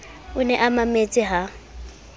o ne a mametse ha